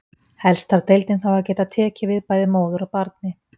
Helst þarf deildin þá að geta tekið við bæði móður og barni.